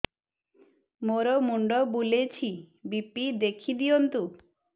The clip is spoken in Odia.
ମୋର ମୁଣ୍ଡ ବୁଲେଛି ବି.ପି ଦେଖି ଦିଅନ୍ତୁ